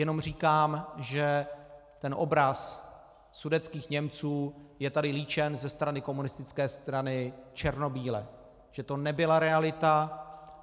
Jenom říkám, že ten obraz sudetských Němců je tady líčen ze strany komunistické strany černobíle, že to nebyla realita.